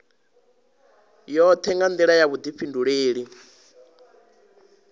yoṱhe nga nḓila ya vhuḓifhinduleli